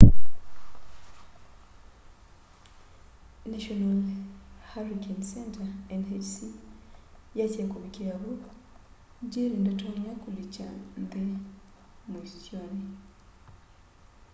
national hurricane center nhc yasya kuvikia vu jerry ndatonya kulikya nthi muisyoni